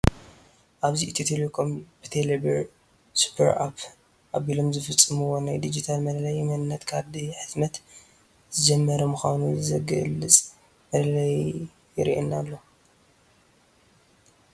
ኣብዚ ኢትዮ ቴለኮም ብቴለ ብር ሱፐርኣፕ ኣቢሎም ዝፍፀምዎ ናይ ዲጂታል መለለዪ መንነት ካርዲ ሕትመት ዝጀመረ ምዃኑ ዝገልዕ መላለዪ ይርአየና ኣሎ፡፡